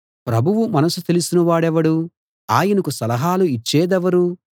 ప్రభువు మనసు తెలిసిన వాడెవడు ఆయనకు సలహాలు ఇచ్చేదెవరు